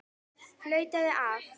Flautað af.